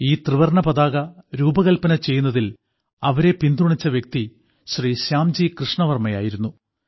ഈ ത്രിവർണ്ണ പതാക രൂപകൽപ്പന ചെയ്യുന്നതിൽ അവരെ പിന്തുണച്ച വ്യക്തി ശ്രീ ശ്യാംജി കൃഷ്ണവർമ്മയായിരുന്നു